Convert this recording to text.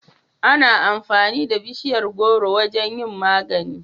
Ana amfani da bishiyar gworo wajen yin magani